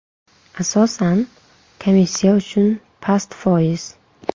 Asosan, komissiya uchun past foiz.